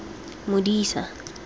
modisa